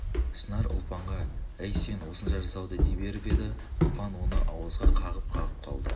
шынар ұлпанғаәй сен осынша жасауды дей беріп еді ұлпан оны ауызға қағып-қағып қалды